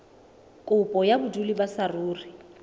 kopo ya bodulo ba saruri